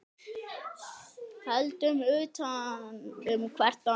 Höldum utan um hvert annað.